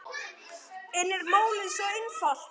En er málið svo einfalt?